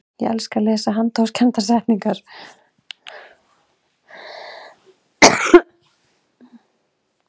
ég elska að lesa handahófskendar settningar